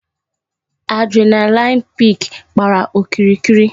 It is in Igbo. Adrenaline peak gbàrà okirikiri